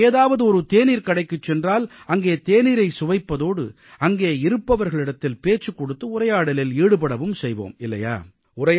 நாம் ஏதாவது ஒரு தேநீர்க்கடைக்குச் சென்றால் அங்கே தேநீரைச் சுவைப்பதோடு அங்கே இருப்பவர்களிடத்தில் பேச்சுக் கொடுத்து உரையாடலில் ஈடுபடவும் செய்வோம் இல்லையா